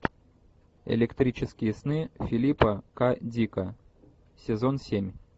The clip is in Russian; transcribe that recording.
электрические сны филипа к дика сезон семь